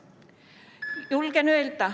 Palun lisaaega!